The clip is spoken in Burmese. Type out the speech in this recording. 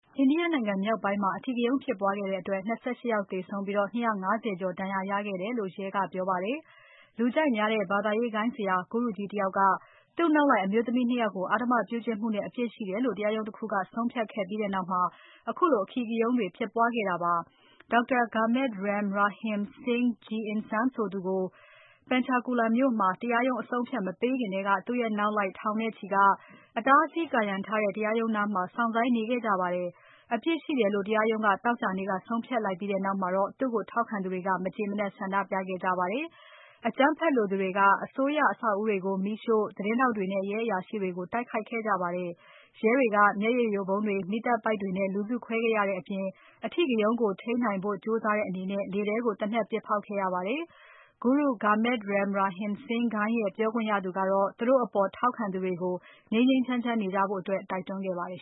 အိန္ဒိယ နိုင်ငံမြောက်ပိုင်းမှာ အဓိကရုဏ်းဖြစ်ပွားခဲ့တဲ့အတွက် ၂၈ ယောက်သေဆုံးပြီး ၂၅၀ ကျော် ဒဏ်ရာရခဲ့တယ်လို့ ရဲကပြောပါတယ်။ လူကြိုက်များတဲ့ ဘာသာရေးဂိုဏ်းဆရာ ဂုရုကြီးတယောက်က သူ့နောက်လိုက်အမျိုးသမီး ၂ ယောက်ကို အဓမ္မပြုကျင့်မှုနဲ့ အပြစ်ရှိတယ်လို့ တရားရုံးတခုက ဆုံးဖြတ်ခဲ့ပြီးနောက် ခုလိုအဓိကရုဏ်းတွေဖြစ်ပွားခဲ့တာပါ။ Dr. Gurmeet Ram Rahim Singh Ji Insan ဆိုသူကို Panchkula မြို့မှာ တရားရုံး အဆုံးအဖြတ်မပေးခင်ထဲက သူ့နောက်လိုက် ထောင်နဲ့ချီက အတားအဆီး ကာရံထားတဲ့ တရားရုံးနားမှာ စောင့်ဆိုင်းနေခဲ့ကြပါတယ်။ အပြစ်ရှိတယ်လို့ တရားရုံးက သောကြာနေ့က ဆုံးဖြတ်လိုက်ပြီးနောက်မှာ သူ့ကိုထောက်ခံသူတွေက မကျေမနပ်ဆန္ဒပြခဲ့ကြတာပါ။ အကြမ်းဖက်လိုသူတွေက အစိုးရအဆောက်အဦးတွေကို မီးရှို့။ သတင်းထောက်တွေနဲ့ ရဲအရာရှိတွေကို တိုက်ခိုက်ခဲ့ကြပါတယ်။ ရဲတွေက မျက်ရည်ယိုဗုံးတွေ။ မီးသတ်ပိုက်တွေနဲ့ လူစုခွဲခဲ့ရတဲ့အပြင်။ အဓိကရုဏ်းကို ထိန်းနိုင်ဖို့ကြိုးစားတဲ့အနေနဲ့ လေထဲကို သေနတ်ပစ်ဖောက်ခဲ့ရပါတယ်။ ဂုရု Gurmeet Ram Rahim Singh ဂိုဏ်းရဲ့ပြောခွင့်ရသူက သူတို့အပေါ် ထောက်ခံသူတွေကို ငြိမ်းငြိမ်းချမ်းချမ်းနေကြဖို့ တိုက်တွန်းခဲ့ပါတယ်